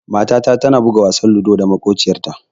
Matata tana buga wasan ludo da maƙociyarta.